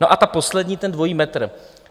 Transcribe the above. No a ta poslední, ten dvojí metr.